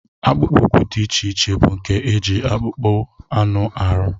Akpụkpọ ụkwụ dị iche iche bụ nke e ji akpụkpọ anụ arụ